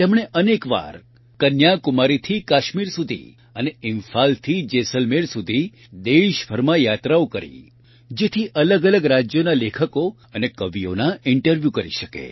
તેમણે અનેકવાર કન્યા કુમારીથી કાશ્મીર સુધી અને ઇમ્ફાલથી જેસલમેર સુધી દેશભરમાં યાત્રાઓ કરી જેથી અલગઅલગ રાજયોના લેખકો અને કવિઓના ઇન્ટરવ્યુ કરી શકે